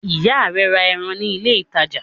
Ìyá rẹ ra ẹran ní ilé-ìtajà?